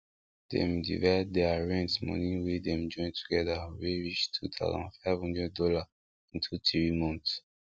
dem divide dere rent moni wey dem join together wey reach two thousand five hundred dollar into three month